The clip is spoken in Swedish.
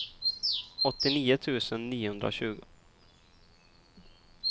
åttionio tusen niohundratjugo